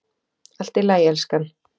Allt í lagi, elskan.